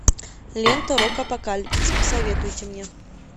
лента рок апокалипсис посоветуйте мне